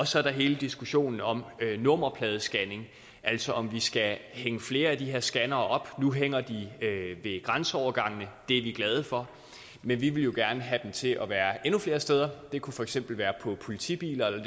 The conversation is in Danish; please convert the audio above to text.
så er der hele diskussionen om nummerpladescanning altså om vi skal hænge flere af de her scannere op nu hænger de ved grænseovergangene og det er vi glade for men vi vil jo gerne have dem til at være endnu flere steder det kunne for eksempel være på politibiler